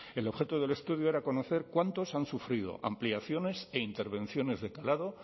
el objeto del estudio era dar a conocer cuántos han sufrido ampliaciones e intervenciones de calado